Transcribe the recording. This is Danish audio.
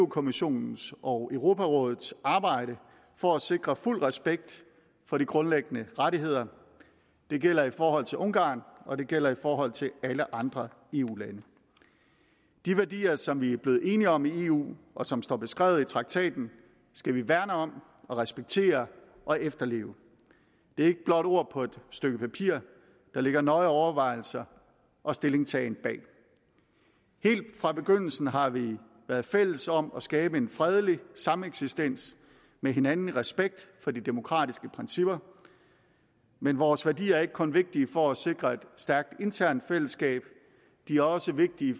kommissionens og europarådets arbejde for at sikre fuld respekt for de grundlæggende rettigheder det gælder i forhold til ungarn og det gælder i forhold til alle andre eu lande de værdier som vi er blevet enige om i eu og som står beskrevet i traktaten skal vi værne om respektere og efterleve det er ikke blot ord på et stykke papir der ligger nøje overvejelser og stillingtagen bag helt fra begyndelsen har vi været fælles om at skabe en fredelig sameksistens med hinanden i respekt for de demokratiske principper men vores værdier er ikke kun vigtige for at sikre et stærkt internt i fællesskab de er også vigtige